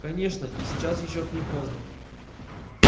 конечно и сейчас ещё не поздно